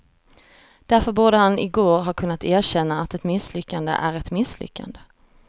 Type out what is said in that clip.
Därför borde han i går ha kunnat erkänna att ett misslyckande är ett misslyckande.